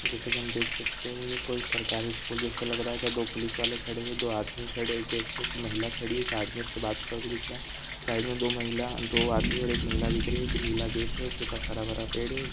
जैसे कि हम देख सकते है ये कोई सरकारी स्कूल जैसा लग रहा है जहाँ दो पुलिस वाले खड़े है दो आदमी खड़े गेट पे एक महिला खड़ी है एक आदमी उससे बात करते हुए दिख रहा है साइड में दो महिला दो आदमी और एक महिला दिख रही है फिर नीला गेट है उसके पास हरा-भरा पेड़ है उस--